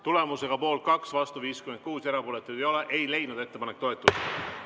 Tulemusega poolt 2, vastu 56 ja erapooletuid 0, ei leidnud ettepanek toetust.